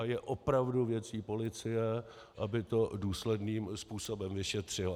A je opravdu věcí policie, aby to důsledným způsobem vyšetřila.